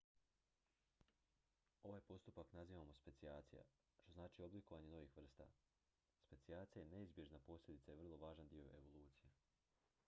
ovaj postupak nazivamo specijacija što znači oblikovanje novih vrsta specijacija je neizbježna posljedica i vrlo važan dio evolucije